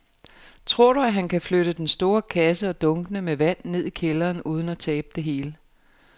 Tror du, at han kan flytte den store kasse og dunkene med vand ned i kælderen uden at tabe det hele?